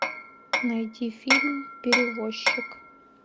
найти фильм перевозчик